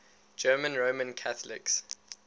german roman catholics